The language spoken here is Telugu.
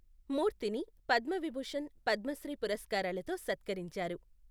మూర్తిని పద్మవిభూషణ్, పద్మశ్రీ పురస్కారాలతో సత్కరించారు.